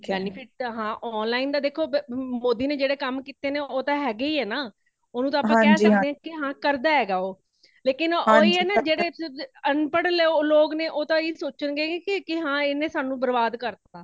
benefit ਤੇ ,ਹਾਂ online ਦਾ ਦੇਖੋ ਮੋਦੀ ਨੇ ਜੇੜ੍ਹੇ ਕਾਮ ਕੀਤੇ ਨੇਂ ਉਹ ਤਾ ਹੇਗੇ ਹੀ ਨਾ ,ਉਣੁ ਤਾ ਆਪਾ ਕੇ ਸੱਕਦੇ ਹਾ ਕੀ ਕਰਦਾ ਹੇਗਾ ਉਹ ਲੇਕਿਨ ਓਹੀ ਨਾ ਜੇੜੇ ਅਨਪੜ੍ਹ ਲੋਗ ਨੇ ਉਹ ਤਾ ਇਹੀਓ ਸੋਚਣ ਗੇ ਕੀ ਹੈ ਏਨੇ ਸਾਨੂੰ ਬ੍ਰਬਾਦ ਕਰ ਤਾ